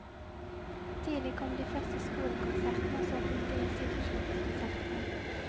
Tidlig kom de første skolekonsertene, og så fulgte institusjonskonsertene.